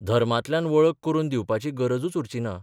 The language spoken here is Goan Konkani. धर्मांतल्यान वळख करून दिवपाची गरजूच उरची ना.